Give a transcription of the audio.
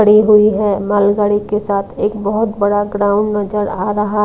खड़ी हुई है मालगाड़ी के साथ एक बहुत बड़ा ग्राउंड नजर आ रहा है।